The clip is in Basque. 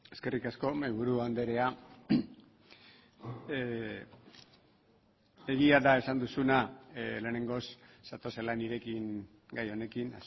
eskerrik asko mahaiburu andrea egia da esan duzuna lehenengoz zatozela nirekin gai honekin